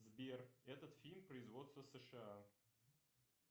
сбер этот фильм производства сша